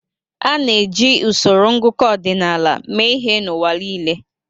A na-eji usoro ngụkọ ọdịnaala mee ihe n'ụwa niile.